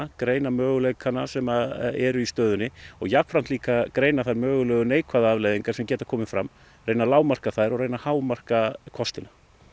greina möguleikana sem eru í stöðinni og jafnframt greina þær mögulega neikvæðu afleiðingar sem geta komið fram reyna að lágmarka þær og reyna að hámarka kostina